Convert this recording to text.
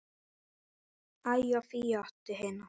Ægi og Fíu á hina.